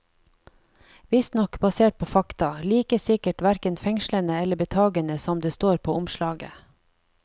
Visstnok basert på fakta, like sikkert hverken fengslende eller betagende som det står på omslaget.